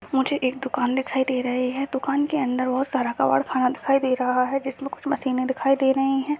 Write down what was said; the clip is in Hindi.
मुझे एक दुकान दिखाई दे रही है दुकान के अंदर बहुत सारा कबाड़ खाना दिखाई दे रहा है जिसमे कुछ मशीने दिखाई दे रही है।